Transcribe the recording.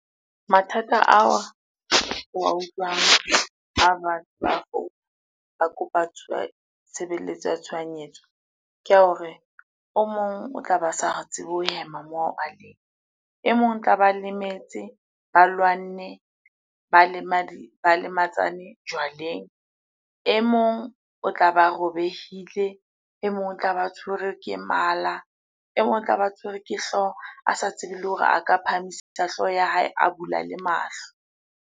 Mathata ao o wa utlwa ba bang ba kopa tshebeletso ya tshohanyetso, ke a hore o mong o tlabe a sa tsebe ho hema moo a leng. E mong tlaba lemetse, ba lwanne, ba lematsane jwaleng. E mong o tlabe robehile, e mong o tlabe a tshwerwe ke mala, e mong o tlabe a tshwerwe ke hlooho a sa tsebe le hore a ka phahamisa hlooho ya hae, a bula le mahlo.